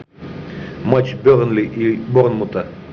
матч бернли и борнмута